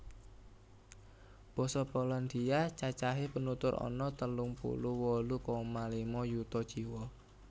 Basa Polandia cacahé penutur ana telung puluh wolu koma lima yuta jiwa